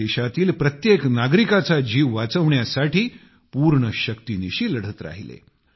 देशातील प्रत्येक नागरिकाचा जीव वाचवण्यासाठी पूर्ण शक्तीनिशी लढत राहिले